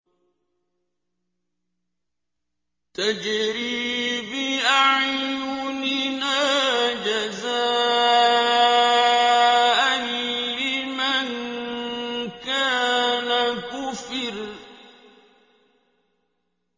تَجْرِي بِأَعْيُنِنَا جَزَاءً لِّمَن كَانَ كُفِرَ